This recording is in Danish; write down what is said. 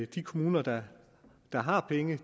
de kommuner der har penge